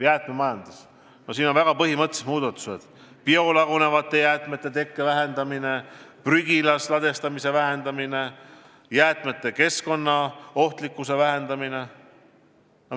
Jäätmemajanduses on väga põhimõttelised muudatused: biolagunevate jäätmete tekke vähendamine, prügilas ladestamise vähendamine, jäätmete keskkonnaohtlikkuse vähendamine.